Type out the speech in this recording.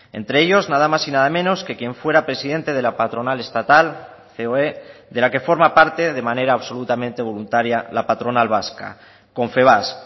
entre ellos nada más y nada menos que quien fuera presidente de la patronal estatal coe de la que forma parte de manera absolutamente voluntaria la patronal vasca confebask